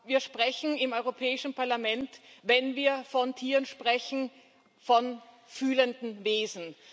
Wir sprechen im Europäischen Parlament, wenn wir von Tieren sprechen, von fühlenden Wesen.